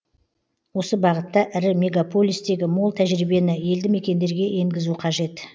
осы бағытта ірі мегаполистегі мол тәжірибені елді мекендерге енгізу қажет